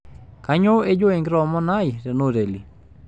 kanyoo ejo ankitoomono ai tena hoteli